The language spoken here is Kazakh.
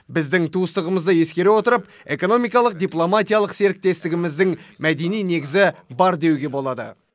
біздің туыстығымызды ескере отырып экономикалық дипломатиялық серіктестігіміздің мәдени негізі бар деуге болады